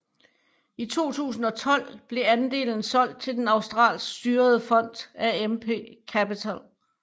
I 2012 blev andelen solgt til den australsk styrede fond AMP Capital